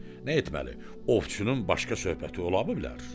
Nə etməli, ovçunun başqa söhbəti ola bilər?